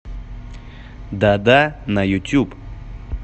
дада на ютюб